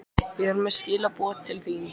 Ég er með skilaboð til þín.